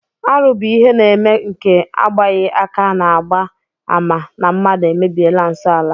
Arụ bụ ihe na-eme nke agbaghị aka na-agba àmà na mmadụ emebiela nsọ ala